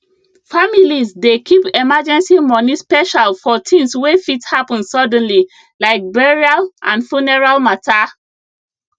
families dey keep emergency money special for things wey fit happen suddenly like burial and funeral matter